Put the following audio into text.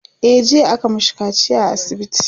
e jiya aka mashi kaciya a asibiti